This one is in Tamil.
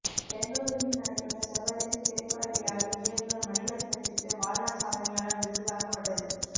பெங்களுருவில் நடைபெற்ற சர்வ தேச திரைப்பட விழாவில் இயக்குனர் மணிரத்தினத்திற்கு வாழ்நாள் சாதனையாளர் விருது வழங்கப்பட்டது